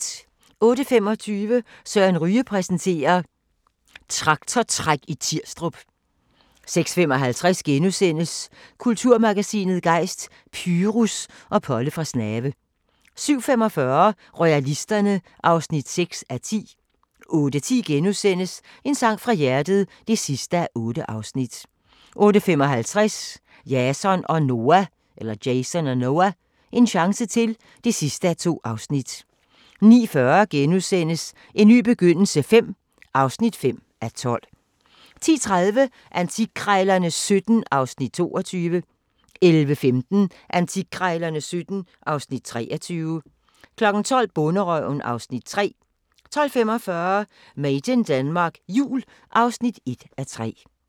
06:25: Søren Ryge præsenterer: Traktortræk i Tirstrup 06:55: Kulturmagasinet Gejst: Pyrus og Polle fra Snave * 07:45: Royalisterne (6:10) 08:10: En sang fra hjertet (8:8)* 08:55: Jason og Noah – en chance til (2:2) 09:40: En ny begyndelse V (5:12)* 10:30: Antikkrejlerne XVII (Afs. 22) 11:15: Antikkrejlerne XVII (Afs. 23) 12:00: Bonderøven (Afs. 3) 12:45: Made in Denmark Jul (1:3)